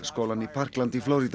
skólann í Parkland í